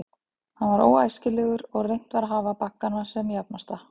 Hann var óæskilegur, og reynt var að hafa baggana sem jafnasta.